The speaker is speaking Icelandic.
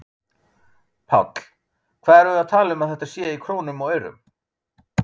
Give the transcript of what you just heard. Páll: Hvað erum við að tala um þetta sé í krónum og aurum?